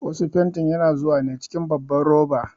Wasu fantin yana zuwa ne cikin babban roba.